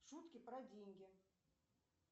шутки про деньги